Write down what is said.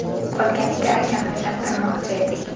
Qolganiga akamni uylantirmoqchi edik.